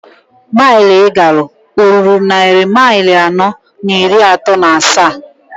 Mail I galụ oruru nnari mail anọọ n'iri ato n'asaa?